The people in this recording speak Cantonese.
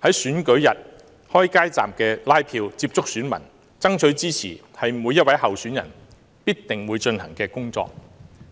在選舉日開街站接觸選民爭取支持，是每一位候選人必定會進行的工作，